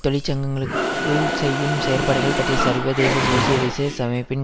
தொழிற்சங்கங்களுக்உள் செய்யும் செயற்பாடுகள் பற்றிய சர்வதேச சோசியலிச சமைப்பின்